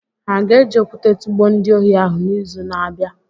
Ha ga-eji okwụte tụgbuo ndị ohi ahụ n'izu na-abịa?